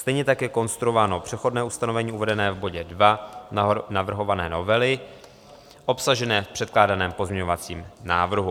Stejně tak je konstruováno přechodné ustanovení uvedené v bodě 2 navrhované novely, obsažené v předkládaném pozměňovacím návrhu.